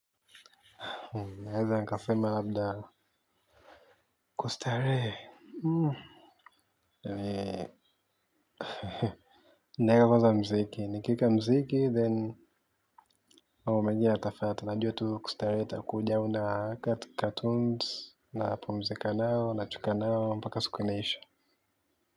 Naeza nikasema labda kustarehe. Na weka kwanaa mziki nikiweka mziki then mambo mengine ya tafuata najua tu kustarehe utakuja au naweka tu cartoons na pumzika nao na cheka nao mpaka siku inaiisha.